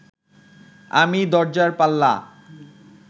আমি দরজার পাল্লা